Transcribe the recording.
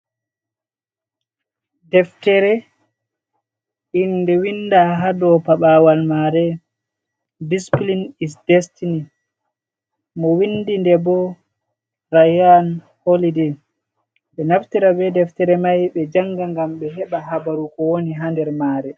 Deftere, innde winnda haa dow paɓaawal maare Displin Destiny, mo winndi nde bo Rayan Holiday. Ɓe ɗon naftira be deftere may ɓe jannga ngam ɓe heɓa habaru ko woni haa nder maare.